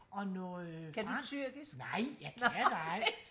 og noget fransk nej jeg kan da ej